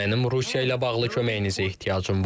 Mənim Rusiya ilə bağlı köməyinizə ehtiyacım var.